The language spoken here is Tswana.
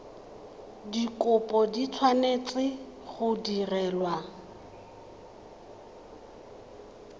dikopo di tshwanetse go direlwa